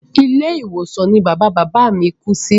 Ilé ìwòsàn ní bàbá bàbá a mí kú sí.